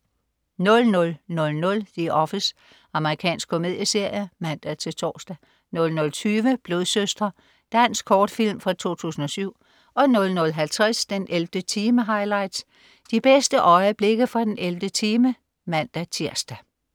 00.00 The Office. Amerikansk komedieserie (man-tors) 00.20 Blodsøstre. Dansk kortfilm fra 2007 00.50 den 11. time highlights. De bedste øjeblikke fra den 11. time (man-tirs)